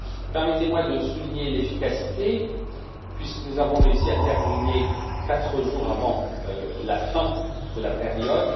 Permettez moi de souligner l'efficacité puisque nous avons réussi à terminer quatre jours avant la fin de la période.